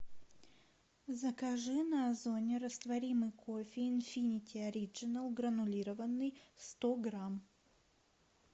закажи на озоне растворимый кофе инфинити ориджинал гранулированный сто грамм